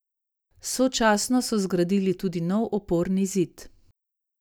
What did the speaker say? Sočasno so zgradili tudi nov oporni zid.